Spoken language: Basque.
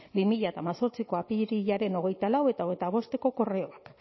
bi mila hemezortziko apirilaren hogeita lau eta hogeita bosteko korreoak